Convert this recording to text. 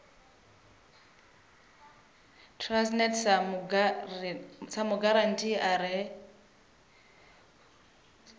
transnet sa mugarantii a re